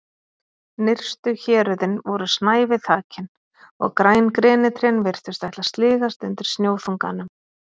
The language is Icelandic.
Nyrstu héröðin voru snævi þakin og græn grenitrén virtust ætla að sligast undan snjóþunganum.